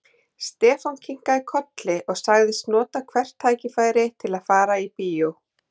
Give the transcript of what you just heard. Stefán kinkaði kolli og sagðist nota hvert tækifæri til að fara í bíó.